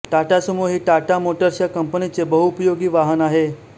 Tata Sumo ही Tata Motors या कंपनीचे बहुउपयोगी वाहन आहे